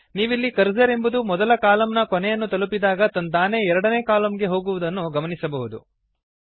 ನೀವಿಲ್ಲಿ ಕರ್ಸರ್ ಎಂಬುದು ಮೊದಲ ಕಾಲಮ್ ನ ಕೊನೆಯನ್ನು ತಲುಪಿದಾಗ ತಂತಾನೇ ಎರಡನೇ ಕಾಲಮ್ ಗೆ ಹೋಗುವುದನ್ನು ಗಮನಿಸಬಹುದು